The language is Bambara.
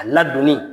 A ladonni